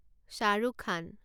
Shahrukh Khan